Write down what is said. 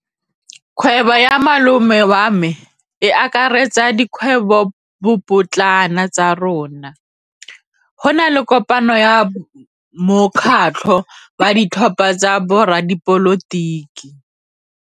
Kgwêbô ya malome wa me e akaretsa dikgwêbôpotlana tsa rona. Go na le kopanô ya mokgatlhô wa ditlhopha tsa boradipolotiki.